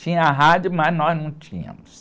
Tinha rádio, mas nós não tínhamos.